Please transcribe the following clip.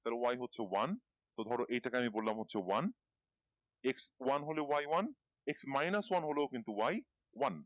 তাহলে Y হচ্ছে one তো ধরো এইটাকে আমি বললাম হচ্ছে one X one হলে Y one X mainas one হলেও কিন্তু Y one